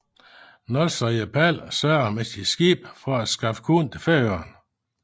Nólsoyar Páll sørgede med sit skib for at skaffe korn til Færøerne